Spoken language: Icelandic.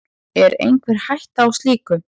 Er einhver hætta á slíku?